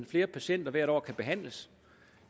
flere patienter hvert år kan behandles